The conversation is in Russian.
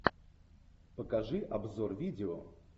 покажи обзор видео